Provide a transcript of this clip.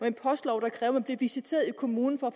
en postlov der kræver at man bliver visiteret i kommunen for